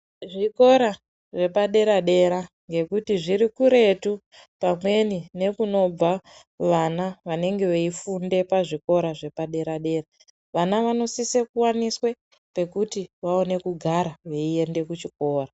Zvikora zvepadera dera ngekuti zviri kuretu pamweni nekunobva vana vanenge veifunde pazvikora zvepadera dera. Vana vanosise kuwaniswe pekuti vaone kugara veiende kuchikora.